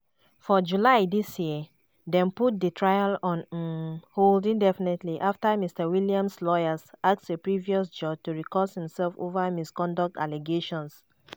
for july dis yeardem put di trial on um hold indefinitelyafter mr williams lawyers ask a previous judge to recuse imself over misconduct allegations.